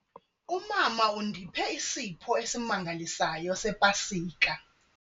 Umama undiphe isipho esimangalisayo sePasika.